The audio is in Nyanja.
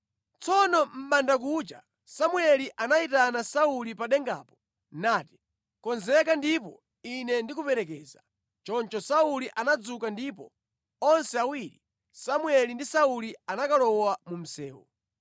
Tsono mʼbandakucha Samueli anayitana Sauli pa dengapo nati, “Konzeka ndipo ine ndikuperekeza.” Choncho Sauli anadzuka ndipo onse awiri, Samueli ndi Sauli anakalowa mu msewu.